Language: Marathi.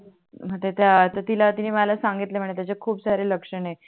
नंतर त्या तर तिला तिणी मला सांगितल म्हणे त्याचे खूप सारे लक्षण आहे